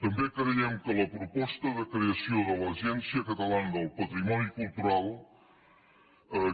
també creiem que la proposta de creació de l’agència catalana del patrimoni cultural